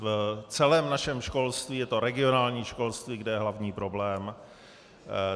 V celém našem školství je to regionální školství, kde je hlavní problém.